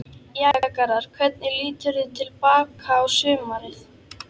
Jæja Garðar, hvernig líturðu til baka á sumarið?